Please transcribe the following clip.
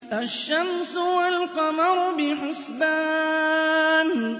الشَّمْسُ وَالْقَمَرُ بِحُسْبَانٍ